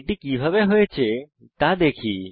এটি কিভাবে হয়েছে দেখা যাক